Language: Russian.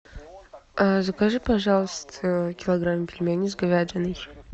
закажи пожалуйста килограмм пельменей с говядиной